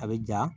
A bɛ ja